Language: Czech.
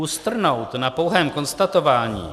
Ustrnout na pouhém konstatování -